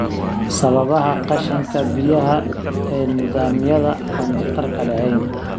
Sababaha qashinka biyaha ee nidaamyada aan waxtarka lahayn.